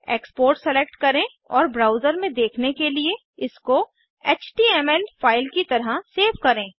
export select करें और browser में देखने के लिए इसको एचटीएमएल फाइल की तरह सेव करें